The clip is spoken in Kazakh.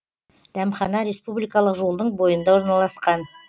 дәмхана республикалық жолдың бойында орналасқан